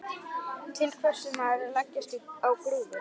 Til hvers á maður að leggjast á grúfu?